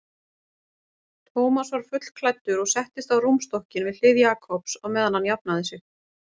Thomas var fullklæddur og settist á rúmstokkinn við hlið Jakobs á meðan hann jafnaði sig.